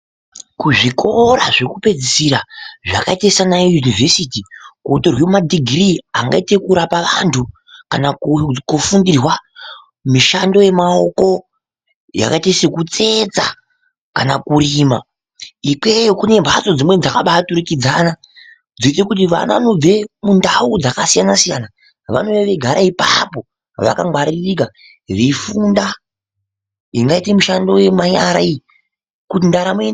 Kuzvikora zvekupedzisira zvakaita sana yunivhesiti kunotorwa madhigirii angaite ekurapa vantu kana kufundirwa mushando yemaoko yakaita sekutsetsa kana kurima ikweyo kune mbatso dzimweni dzakaturikidzana dzekuti vantu vanobve kundau dzakasiyana siyana vanouya veigara ipapo vakangwaririka veifunda ingaita mushando yemari kuti ndaramo.....